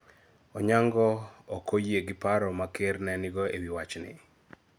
Onyango ok oyie gi paro ma Ker ne nigo e wi wachni.